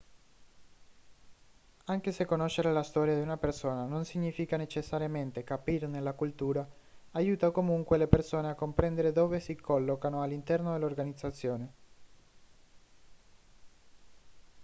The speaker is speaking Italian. anche se conoscere la storia di una persona non significa necessariamente capirne la cultura aiuta comunque le persone a comprendere dove si collocano all'interno dell'organizzazione